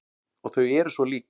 Og þau eru svo lík.